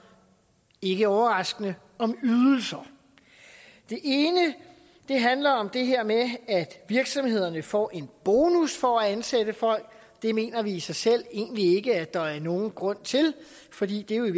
ikke overraskende om ydelser det ene handler om det her med at virksomhederne får en bonus for at ansætte folk det mener vi i sig selv egentlig ikke at der er nogen grund til fordi det jo i